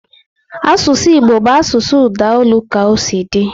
Asụsụ Igbo bụ asụsụ udaolu ka osi di